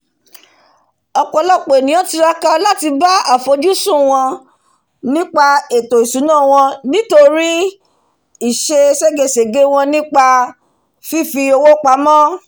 ọ̀pọ̀lọpọ̀ ènìyàn tiraka láti bá àfojúsùn wọn nípa ètò ìsúná wọn nítorí ìse ségesège wọ́n nípa fífi owó pamọ́